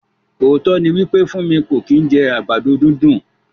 Ootọ ni wípé Funmi ko ki n jẹ àgbàdo dundun.